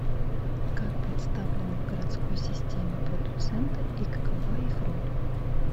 как представлены в городской системе продуценты и какова их роль